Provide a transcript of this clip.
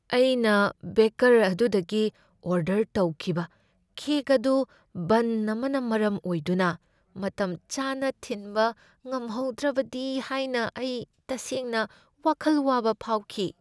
ꯑꯩꯅ ꯕꯦꯀꯔ ꯑꯗꯨꯗꯒꯤ ꯑꯣꯔꯗꯔ ꯇꯧꯈꯤꯕ ꯀꯦꯛ ꯑꯗꯨ ꯕꯟ ꯑꯃꯅ ꯃꯔꯝ ꯑꯣꯏꯗꯨꯅ ꯃꯇꯝꯆꯥꯅ ꯊꯤꯟꯕ ꯉꯝꯍꯧꯗ꯭ꯔꯕꯗꯤ ꯍꯥꯏꯅ ꯑꯩ ꯇꯁꯦꯡꯅ ꯋꯥꯈꯜ ꯋꯥꯕ ꯐꯥꯎꯈꯤ ꯫